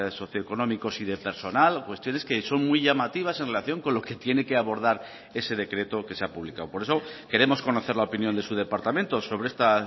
socioeconómicos y de personal cuestiones que son muy llamativas en relación con lo que tiene que abordar ese decreto que se ha publicado por eso queremos conocer la opinión de su departamento sobre esta